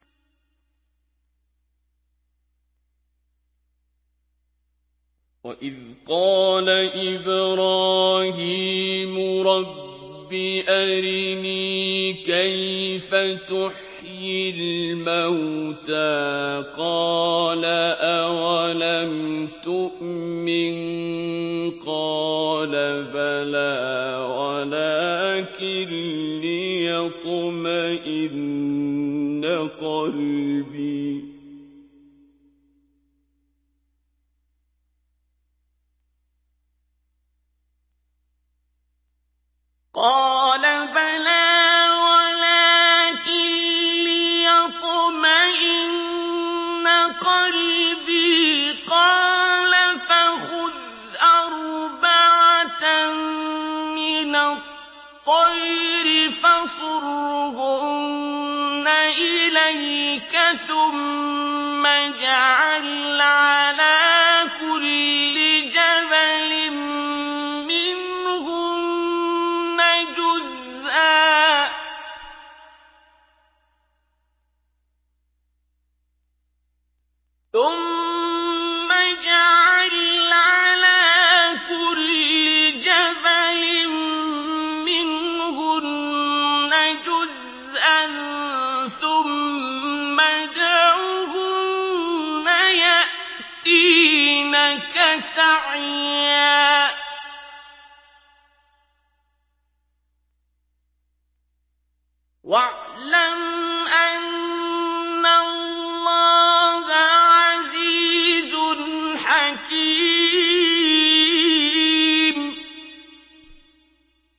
وَإِذْ قَالَ إِبْرَاهِيمُ رَبِّ أَرِنِي كَيْفَ تُحْيِي الْمَوْتَىٰ ۖ قَالَ أَوَلَمْ تُؤْمِن ۖ قَالَ بَلَىٰ وَلَٰكِن لِّيَطْمَئِنَّ قَلْبِي ۖ قَالَ فَخُذْ أَرْبَعَةً مِّنَ الطَّيْرِ فَصُرْهُنَّ إِلَيْكَ ثُمَّ اجْعَلْ عَلَىٰ كُلِّ جَبَلٍ مِّنْهُنَّ جُزْءًا ثُمَّ ادْعُهُنَّ يَأْتِينَكَ سَعْيًا ۚ وَاعْلَمْ أَنَّ اللَّهَ عَزِيزٌ حَكِيمٌ